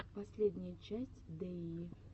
последняя часть дэйи